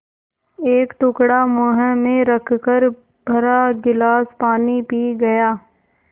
एक टुकड़ा मुँह में रखकर भरा गिलास पानी पी गया